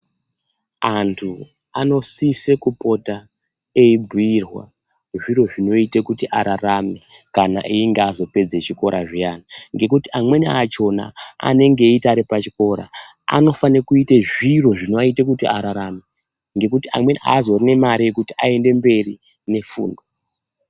Antu anosise kupota eibhirwa zviro zvinoite kuti ararame kana einge azopedze chikora zviyani ngekuti amweni achona anonge eiti ari pachikora anofane kuite zviro zvinoaite kuti ararame ngekuti amwebi aazorine mare yekuti aendeberi ngefundo.